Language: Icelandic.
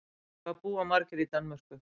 Hvað búa margir í Danmörku?